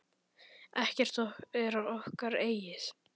Ekkert er okkar eigið.